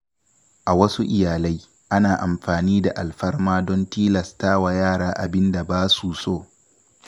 A wasu iyalai, ana amfani da alfarma don tilasta wa yara yin abin da ba su so.